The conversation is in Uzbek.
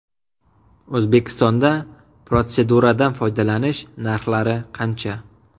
O‘zbekistonda protseduradan foydalanish narxlari qancha?